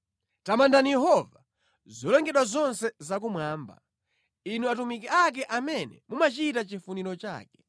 Tamandani Yehova, zolengedwa zonse zakumwamba, inu atumiki ake amene mumachita chifuniro chake.